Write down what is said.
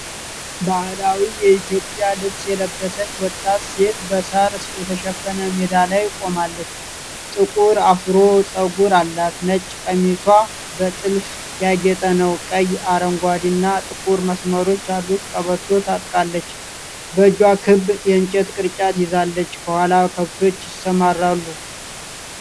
ባህላዊ የኢትዮጵያ ልብስ የለበሰች ወጣት ሴት በሣር የተሸፈነ ሜዳ ላይ ቆማለች። ጥቁር አፍሮ ጸጉር አላት፡፡ ነጭ ቀሚሷ በጥልፍ ያጌጠ ነው። ቀይ፣ አረንጓዴና ጥቁር መስመሮች ያሉት ቀበቶ ታጥቃለች። በእጇ ክብ የእንጨት ቅርጫት ይዛለች፤ ከኋላ ከብቶች ይሰማራሉ።